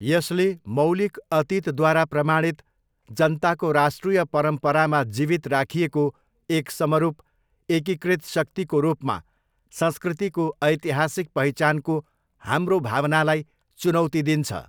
यसले 'मौलिक अतीतद्वारा प्रमाणित, जनताको राष्ट्रिय परम्परामा जीवित राखिएको एक समरूप, एकीकृत शक्तिको रूपमा संस्कृतिको ऐतिहासिक पहिचानको हाम्रो भावनालाई चुनौती दिन्छ।